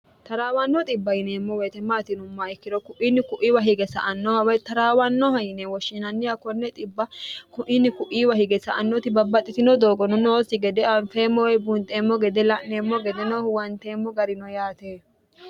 taraawannoo ibb yineemmo weetematinoma ikkiro ku'inni ku'iiwa hige sa annoha way taraawannoha yine woshshiinanniha konne kuini ku'iiwa hige sa annoti babbaxxitino doogono noossi gede anfeemmowee bunxeemmo gede la'neemmo gede noohu wanteemmo garino yaate